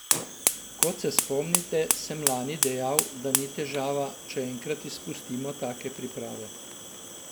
Kot se spomnite, sem lani dejal, da ni težava, če enkrat izpustimo take priprave.